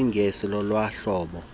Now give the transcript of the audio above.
kwisingesi lolona hlobo